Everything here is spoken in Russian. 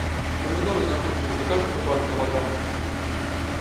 помидоры закончились закажи ка пару килограмм